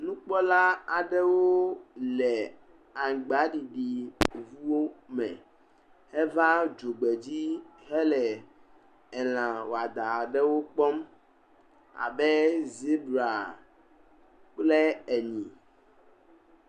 Nukpɔla aɖewo le aŋgba ɖiɖi ŋuwo me heva dzogbedzi hele lã wɔadã aɖewo kpɔm abe zibra kple nyi.